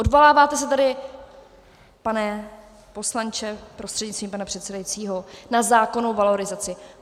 Odvoláváte se tady, pane poslanče prostřednictvím pana předsedajícího, na zákon o valorizaci.